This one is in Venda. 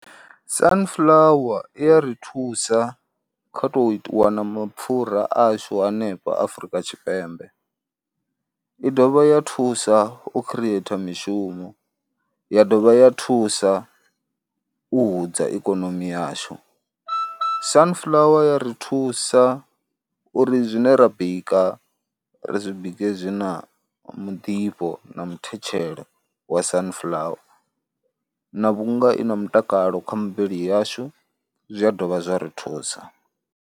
Sunflower i ya ri thusa kha tou wana mapfhura ashu hanefha Afrika Tshipembe, i dovha ya thusa u khireitha mishumo, ya dovha ya thusa u hudza ikonomi yashu. Sunflower i ya ri thusa uri zwine ra bika ri zwi bike zwi na muḓifho na muthetshelo wa Sunflower na vhunga i na mutakalo kha muvhili yashu, zwi a dovha zwa ri thusa.